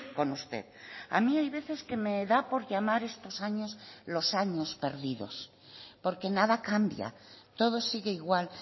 con usted a mí hay veces que me da por llamar estos años los años perdidos porque nada cambia todo sigue igual